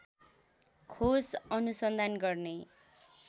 खोज अनुसन्धान गर्ने